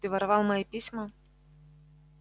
ты воровал мои письма